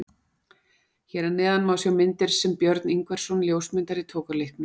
Hér að neðan má sjá myndir sem Björn Ingvarsson ljósmyndari tók á leiknum.